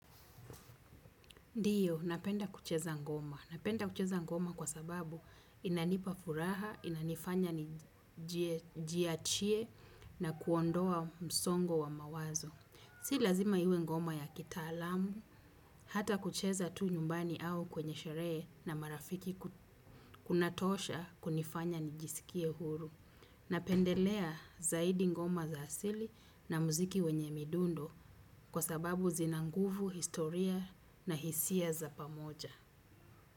Ndiyo, napenda kucheza ngoma. Napenda kucheza ngoma kwa sababu inanipafuraha, inanifanya njiachie na kuondoa msongo wa mawazo. Si lazima iwe ngoma ya kita alamu, hata kucheza tu nyumbani au kwenye shere na marafiki kunatosha kunifanya nijisikie huru. Napendelea zaidi ngoma za asili na muziki wenye midundo kwa sababu zina nguvu historia na hisia za pamoja.